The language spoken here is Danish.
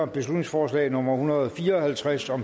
beslutningsforslag nummer hundrede og fire og halvtreds og